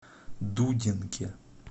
дудинке